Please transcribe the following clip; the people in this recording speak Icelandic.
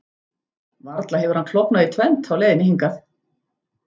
Varla hefur hann klofnað í tvennt á leiðinni hingað?